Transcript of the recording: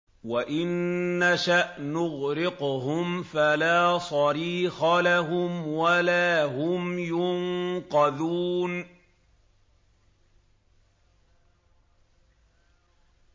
وَإِن نَّشَأْ نُغْرِقْهُمْ فَلَا صَرِيخَ لَهُمْ وَلَا هُمْ يُنقَذُونَ